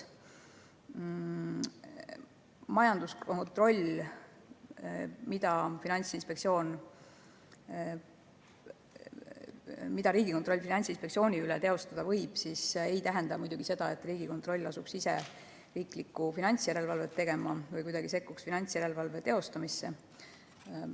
Majanduskontroll, mida Riigikontroll võib Finantsinspektsiooni üle teostada, ei tähenda seda, et Riigikontroll asuks riigisisest finantsjärelevalvet tegema või kuidagi sekkuks finantsjärelevalve teostamisse.